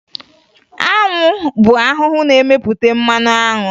Anwụ bụ ahụhụ na-emepụta mmanụ anwụ